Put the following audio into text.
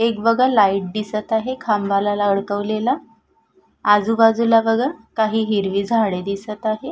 एक बघा लाइट दिसत आहे. खांबाला अडकवलेला आजूबाजूला बघा काही हिरवी झाडे दिसत आहे.